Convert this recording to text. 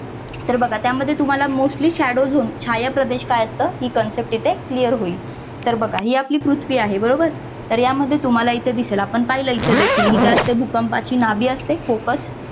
तर बघा त्यामध्ये तुम्हाला mostly shadow zone छाया प्रदेश काय असतं ही concept इथे clear होईल तर बघा हि आपली पृथ्वी आहे बरोबर यामध्ये तुम्हाला इथे दिसते आपण पाहिलं इथे देखील ही काय असते भूकंपाची नाभी असते focus